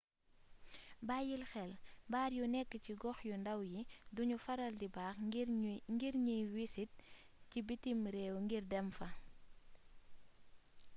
bayyil xel baar yu nekk ci gox yu ndàw yi duñuy faral di baax ngir ñiy wisit ci bitim réew ngir dem fa